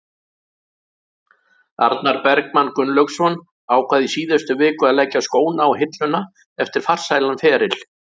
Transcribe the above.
Arnar Bergmann Gunnlaugsson ákvað í síðustu viku að leggja skóna á hilluna eftir farsælan feril.